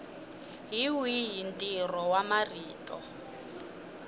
hi wihi ntirho wa marito